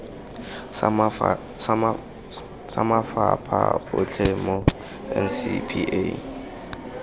sa mafapha otlhe mo ncpa